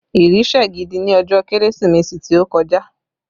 Ìrì sẹ̀ gidi ní ọjọ́ Kérésìmesì tó kọjá